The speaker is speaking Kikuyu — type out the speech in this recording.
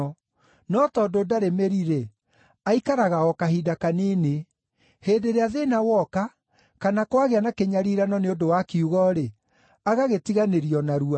No tondũ ndarĩ mĩri-rĩ, aikaraga o kahinda kanini. Hĩndĩ ĩrĩa thĩĩna woka, kana kwagĩa na kĩnyariirano nĩ ũndũ wa kiugo-rĩ, agagĩtiganĩria o narua.